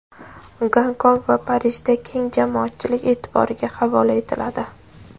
Gonkong va Parijda keng jamoatchilik e’tiboriga havola etiladi.